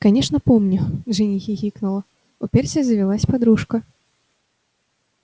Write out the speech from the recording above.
конечно помню джинни хихикнула у перси завелась подружка